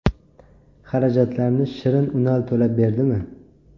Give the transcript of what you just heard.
Xarajatlarni Shirin Unal to‘lab berdimi?